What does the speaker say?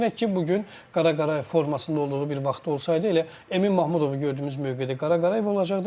Düşünək ki, bu gün Qara Qarayev formasında olduğu bir vaxtda olsaydı, elə Emin Mahmudovu gördüyümüz mövqedə Qara Qarayev olacaqdı.